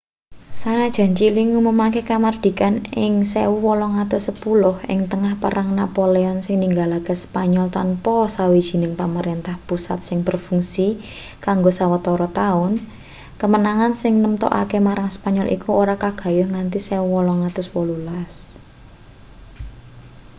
sanajan chili ngumumake kamardikan ing 1810 ing tengah perang napoleon sing ninggalake spanyol tanpa sawijining pamerentah pusat sing berfungsi kanggo sawetara taun kemenangan sing nemtokake marang spanyol iku ora kagayuh nganti 1818